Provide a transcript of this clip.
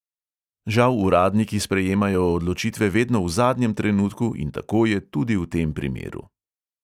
Žal uradniki sprejemajo odločitve vedno v zadnjem trenutku in tako je tudi v tem primeru.